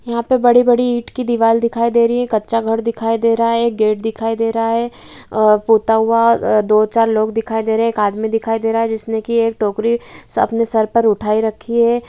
यहाँ पे बड़ी-बड़ी ईंट की दीवाल दिखाई दे रही है | कच्चा घर दिखाई दे रहा है | एक गेट दिखाई दे रहा है | पोता हुआ दो-चार लोग दिखाई दे रहे हैं | एक आदमी दिखाई दे रहे हैं जिसने की एक टोकरी अपने सर पर उठाई रखी है ।